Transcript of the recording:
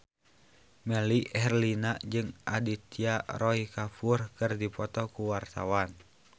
Melly Herlina jeung Aditya Roy Kapoor keur dipoto ku wartawan